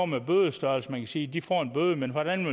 med bødestørrelserne sige de får en bøde men hvordan